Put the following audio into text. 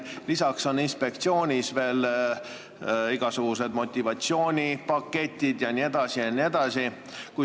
Lisaks on inspektsioonis veel igasugused motivatsioonipaketid jne.